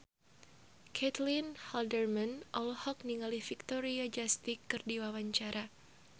Caitlin Halderman olohok ningali Victoria Justice keur diwawancara